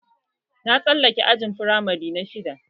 Na tsallake ajin firamare na shidda